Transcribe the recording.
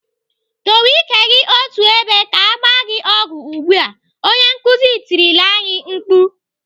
"Dowe ike gị otú ebe ka agba gị ọgwụ ugbu a!" Onye nkuzi tirila anyị mkpu.